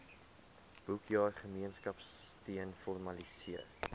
boekjaar gemeenskapsteun formaliseer